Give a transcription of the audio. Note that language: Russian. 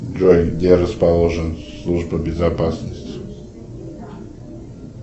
джой где расположена служба безопасности